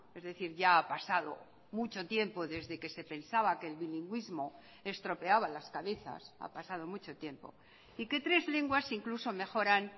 es decir ya ha pasado mucho tiempo desde que se pensaba que el bilingüismo estropeaba las cabezas ha pasado mucho tiempo y que tres lenguas incluso mejoran